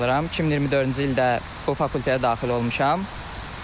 2024-cü ildə o fakültəyə daxil olmuşam.